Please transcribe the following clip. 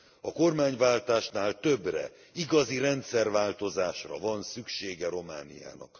A kormányváltásnál többre igazi rendszerváltozásra van szüksége Romániának.